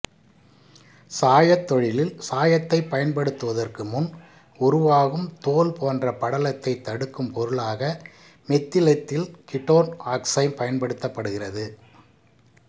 சாயத் தொழிலில் சாயத்தைப் பயன்படுத்துவதற்கு முன் உருவாகும் தோல் போன்ற படலத்தை தடுக்கும் பொருளாக மெத்திலெத்தில் கீட்டோன் ஆக்சைம் பயன்படுத்தப்படுகிறது